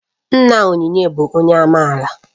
Nna Onyinye bụ onye amaala